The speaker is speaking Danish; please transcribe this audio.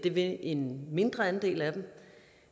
vil en mindre andel af dem